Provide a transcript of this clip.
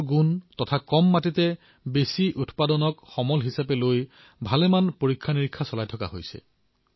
ফলটোৰ গুণগতমান আৰু কম ভূমিত অধিক উৎপাদনৰ বাবে বহু উদ্ভাৱন কৰা হৈছে